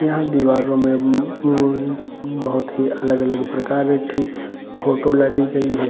यहाँ दीवारों में उम्म बहुत ही अलग अलग प्रकार की फोटो लगी गयी है |